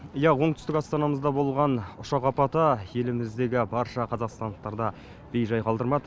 иә оңтүстіук астанамызда болған ұшақ апаты еліміздегі барша қазақстандықты бейжай қалдырмады